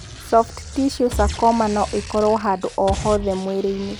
Soft tissue sarcoma no ĩkorũo handũ o hothe mwĩrĩ-inĩ.